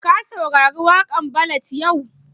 Ka saurari waƙan ballad yau?